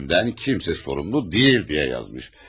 Ölümümdən kimsə məsul deyil” deyə yazmış.